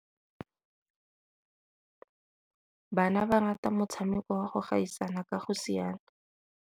Bana ba rata motshamekô wa go gaisana ka go siana.